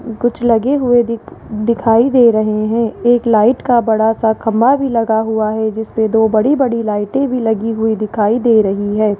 कुछ लगे हुए दि दिखाई दे रहे हैं एक लाइट का बड़ा सा खम्भा भी लगा हुआ है जिस पे दो बड़ी बड़ी लाइटें भी लगी हुई दिखाई दे रही हैं।